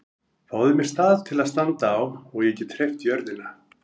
Fáðu mér stað til að standa á og ég get hreyft jörðina!